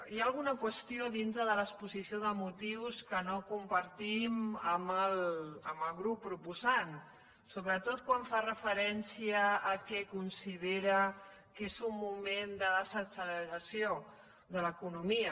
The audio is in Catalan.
hi ha alguna qüestió dintre de l’exposició de motius que no compartim amb el grup proposant sobretot quan fa referència al que considera que és un moment de desacceleració de l’economia